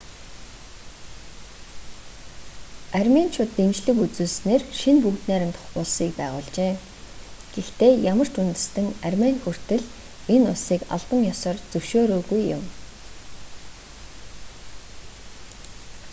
арменичууд дэмжлэг үзүүлснээр шинэ бүгд найрамдах улсыг байгуулжээ гэхдээ ямар ч үндэстэн армени хүртэл энэ улсыг албан ёсоор зөвшөөрөөгүй юм